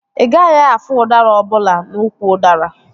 Ị gaghị afụ udara ọbụla n'úkwù udara